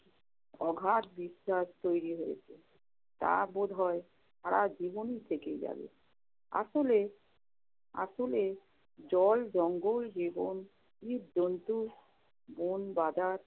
অগাধ বিশ্বাস তৈরি হয়েছে। তা বোধহয় সারা জীবনই থেকে যাবে। আসলে~ আসলে জল, জঙ্গল, জীবন, জীবজন্তু, বনবাদার,